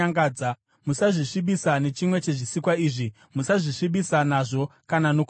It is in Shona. Musazvisvibisa nechimwe chezvisikwa izvi. Musazvisvibisa nazvo kana nokuda kwazvo.